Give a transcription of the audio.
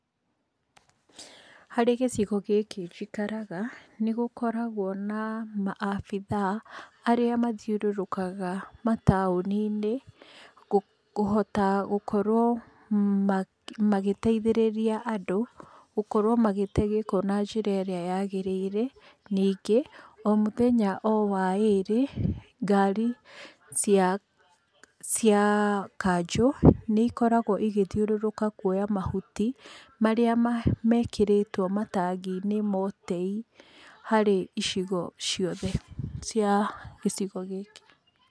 Harĩ gĩcigo gĩkĩ njikaraga, nĩgũkoragwo na maabithaa marĩa mathiũrũrũkaga mataũni-inĩ, kũhota gũkorwo magĩteithĩrĩria andũ, gũkorwo magĩte gĩko na njĩra ĩrĩa yagĩrĩire. Ningĩ o mũthenya o wa ĩrĩ, ngari cia cia kanjũ, nĩikoragwo igĩthiũrũrũka kuoya mahuti, marĩa mekĩrĩtwo harĩ matangi-inĩ ma ũtei harĩ icigo ciothe cia gĩcio gĩkĩ.